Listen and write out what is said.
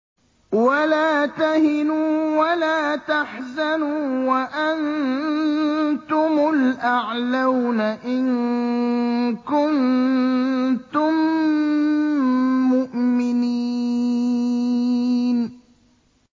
وَلَا تَهِنُوا وَلَا تَحْزَنُوا وَأَنتُمُ الْأَعْلَوْنَ إِن كُنتُم مُّؤْمِنِينَ